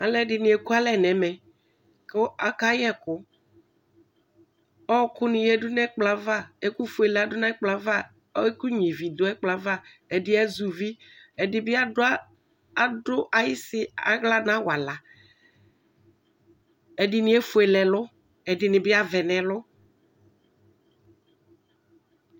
Alʋ ɛdini eku alɛ nʋ ɛmɛkʋ akayɛ ɛkʋɔɔkʋ ni yadʋ nʋ ɛkplɔ yɛ'avaɛkʋ ƒʋe yadʋ nʋ ɛkplɔ yɛ'avaɛkʋ nyuie ivi dʋ ɛkplɔyɛ'avaɛdi azɛ uvi ɛdibi adʋa, adʋ ayisi aɣla nʋ awalaɛdini efuele ɛlʋɛdini bi awɛ nʋ ɛlʋ